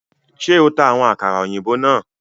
Ṣe o ta awọn àkàrà òyìnbó náà?